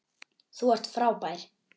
Þú ert frábær.